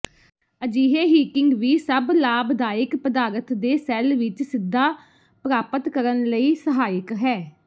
ਅਜਿਹੇ ਹੀਟਿੰਗ ਵੀ ਸਭ ਲਾਭਦਾਇਕ ਪਦਾਰਥ ਦੇ ਸੈੱਲ ਵਿੱਚ ਸਿੱਧਾ ਪ੍ਰਾਪਤ ਕਰਨ ਲਈ ਸਹਾਇਕ ਹੈ